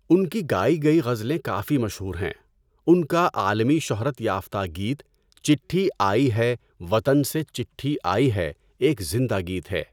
ان کی گائی گئی غزلیں کافی مشہور ہیں، ان کی عالمی شہرت یافتہ گیت چِٹھی آئی ہے وطن سے چٹھی آئی ہے ایک زندہ گیت ہے۔